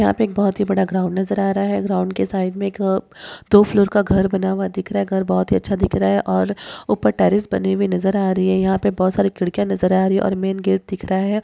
यहां पे एक बहुत ही बड़ा ग्राउंड नजर आ रहा है ग्राउंड के साइड में एक दो फ्लोर का घर बना हुआ दिख रहा है घर बहुत ही अच्छा दिख रहा है और ऊपर टेरेस बंदी हुई नजर आ रही है यहां पर बहुत सारी खिड़कियां नजर आ रही है और मेन गेट दिखरा है।